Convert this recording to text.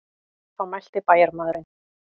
Þá mælti bæjarmaðurinn.